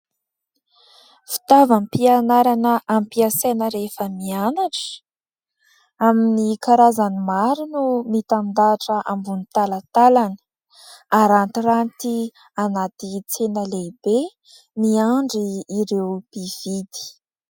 Fitaovam-pianarana ampiasaina rehefa mianatra amin'ny karazan'ny maro no mitandahatra ambon'ny talantalany, arantiranty anaty tsena lehibe miandry ireo pividy.